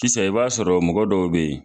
Sisan i b'a sɔrɔ mɔgɔ dɔw be yen